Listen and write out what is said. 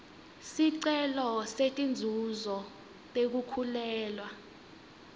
sicelo setinzuzo tekukhulelwa